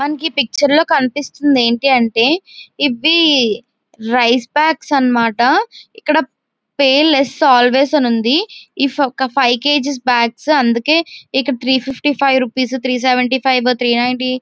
మనకి ఈ పిక్చర్ లో కనిపిస్తుంది ఎంటి అంటే ఇవి రైస్ బ్యాగ్స్ అన్న మాట. ఇక్కడ పేయ్ లెస్ అల్వేస్ అన్ని ఉంది . ఇఫ్ ఒక్క ఫైవ్ కేజీ బ్యాగ్స్ .అందుకే three fifty five rupees three seventy rupees three ninety--